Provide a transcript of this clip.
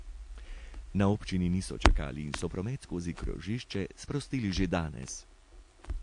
Na občini niso čakali in so promet skozi krožišče sprostili že danes.